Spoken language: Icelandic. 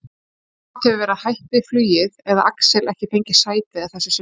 Annaðhvort hefur verið hætt við flugið eða Axel ekki fengið sæti að þessu sinni.